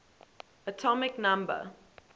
atomic number